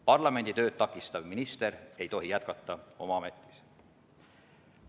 Parlamendi tööd takistav minister ei tohi jätkata oma ametis.